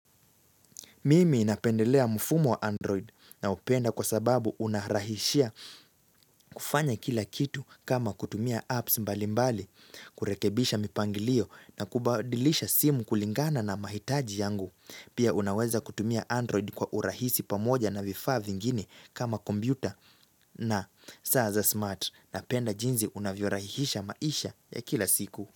Mimi napendelea mfumo wa Android naupenda kwa sababu unarahishia kufanya kila kitu kama kutumia apps mbalimbali, kurekebisha mipangilio na kubadilisha simu kulingana na mahitaji yangu. Pia unaweza kutumia Android kwa urahisi pamoja na vifaa vingeni kama kompyuta. Na, saa za smart napenda jinzi unavyorahisisha maisha ya kila siku.